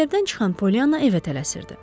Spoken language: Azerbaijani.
Məktəbdən çıxan Polyanna evə tələsirdi.